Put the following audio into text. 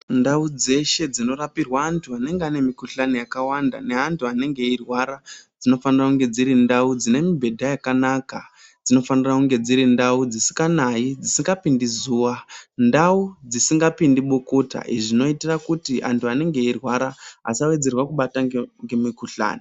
Ndau dzeshe dzinorapirwa vantu vanenge vane mukuhlani yakawanda nevantu vanenge veirwara dzinofanirwa kunge dziri ndau dzine mubhedha yakanaka dzinofanirwa kunge dziri ndau dzisinganayi dzisingapindi zuwa ndau dzisingapindi bukuta izvi zvinoitira kuti antu anenge eyirwara asawedzerwa kubatwa nemukuhlani.